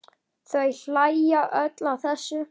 Þau hlæja öll að þessu.